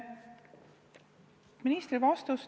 Lugupeetud minister!